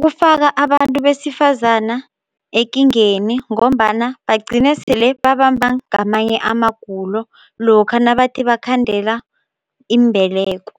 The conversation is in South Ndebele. kufaka abantu besifazana ekingeni ngombana bagcine sele babamba ngamanye amagulo lokha nabathi bakhandele imbeleko.